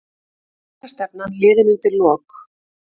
Séreignarstefnan liðin undir lok